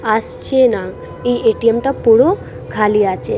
আসছে না। এই এ.টি.এম. টা পুরো খালি আছে।